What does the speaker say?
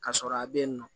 Ka sɔrɔ a bɛ yen nɔ